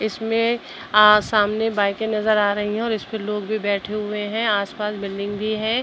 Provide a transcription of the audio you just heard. इसमें आ सामने बाइके नजर आ रही हैं और इसपे लोग भी बैठे हुए हैं आस-पास बिल्डिंग भी है।